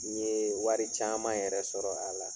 N ye wari caman yɛrɛ sɔrɔ a la